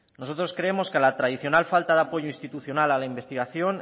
nosotros creemos que a la tradicional falta de apoyo institucional a la investigación